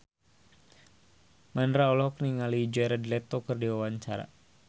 Mandra olohok ningali Jared Leto keur diwawancara